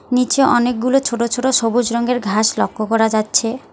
নীচে অনেকগুলো ছোট ছোট সবুজ রঙ্গের ঘাস লক্ষ্য করা যাচ্ছে।